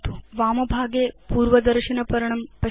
वामभागे पूर्वदर्शनपर्णं पश्यतु